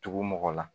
Tugu mɔgɔ la